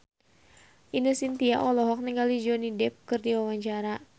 Ine Shintya olohok ningali Johnny Depp keur diwawancara